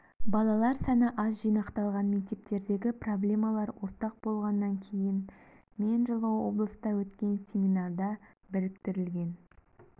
балалар саны аз шағын жинақталған мектептердегі проблемалар ортақ болғаннан кейін мен жылы облыста өткен семинарда біріктірілген